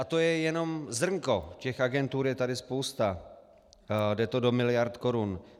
A to je jenom zrnko, těch agentur je tady spousta, jde to do miliard korun.